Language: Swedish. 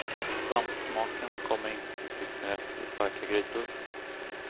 Och svampsmaken kommer inte till sin rätt i starka grytor.